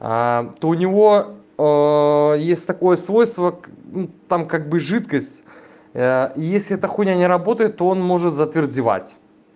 то у него есть такое свойство к ну там как бы жидкость если эта хуйня не работает то он может затвердевать